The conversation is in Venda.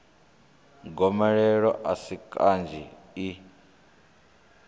gomelelo a si kanzhi i